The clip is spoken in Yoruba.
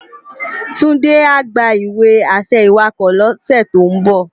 Tunde á gbá iwe-ašẹ iwákò lòs tó n bò